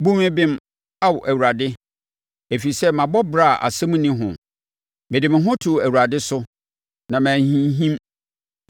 Bu me bem, Ao Awurade, ɛfiri sɛ, mabɔ bra a asɛm nni ho: mede me ho too Awurade so na manhinhim.